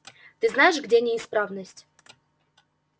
ты знаешь где неисправность